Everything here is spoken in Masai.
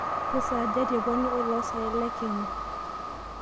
kesaaja tepwani eolosaen lekenya